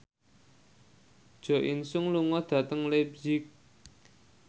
Jo In Sung lunga dhateng leipzig